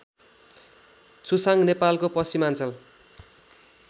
छुसाङ नेपालको पश्चिमाञ्चल